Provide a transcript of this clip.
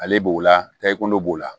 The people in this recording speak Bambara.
Ale b'o la tɛgɛ ko b'o la